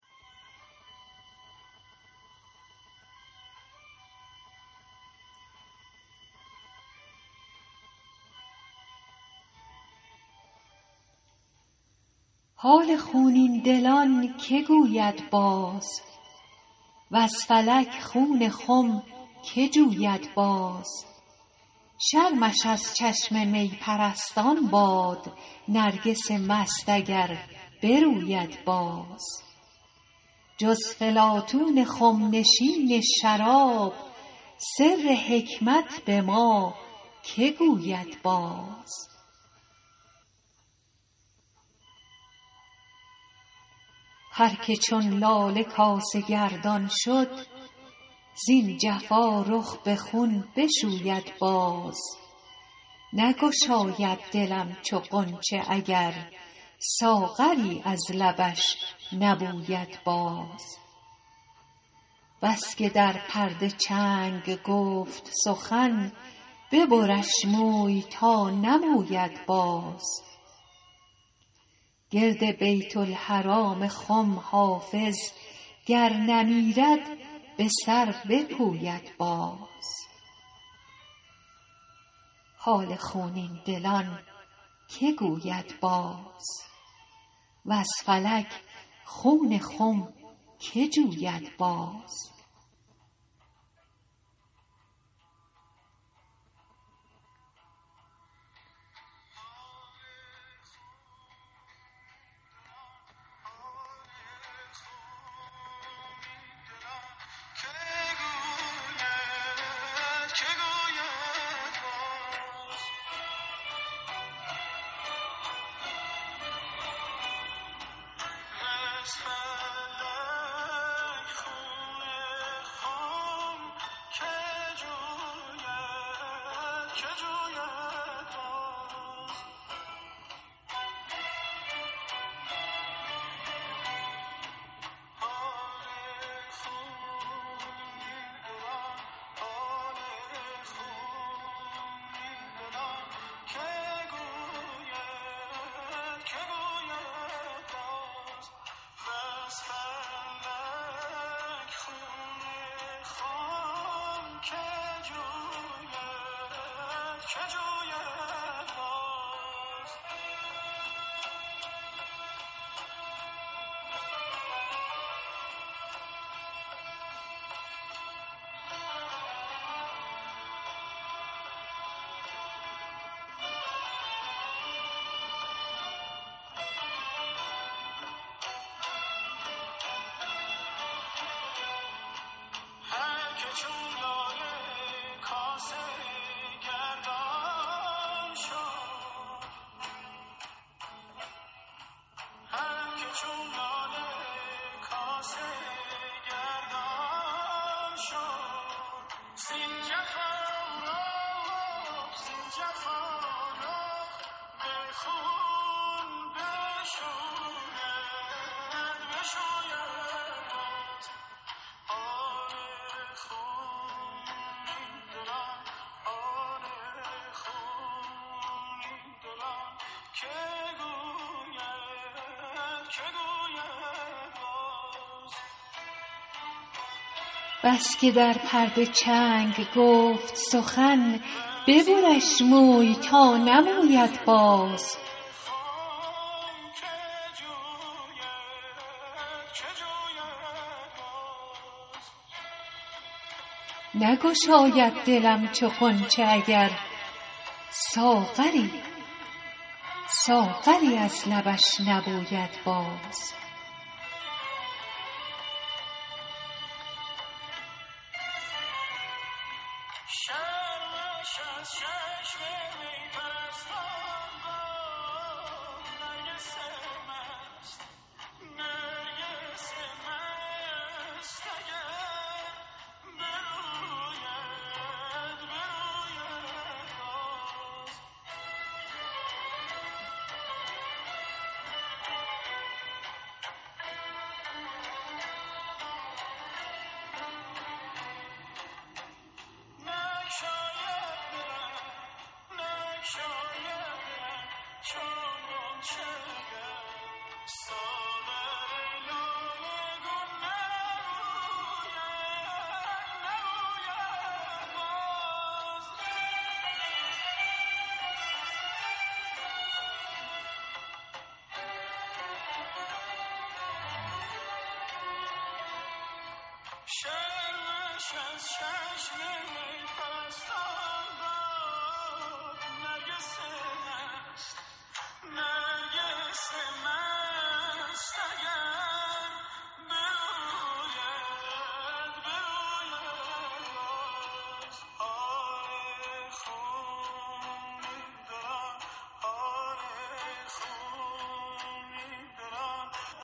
حال خونین دلان که گوید باز وز فلک خون خم که جوید باز شرمش از چشم می پرستان باد نرگس مست اگر بروید باز جز فلاطون خم نشین شراب سر حکمت به ما که گوید باز هر که چون لاله کاسه گردان شد زین جفا رخ به خون بشوید باز نگشاید دلم چو غنچه اگر ساغری از لبش نبوید باز بس که در پرده چنگ گفت سخن ببرش موی تا نموید باز گرد بیت الحرام خم حافظ گر نمیرد به سر بپوید باز